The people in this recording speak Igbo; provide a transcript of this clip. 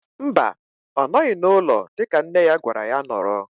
Mba, ọ nọghị n'ụlọ dịka nne ya gwara ya nọrọ.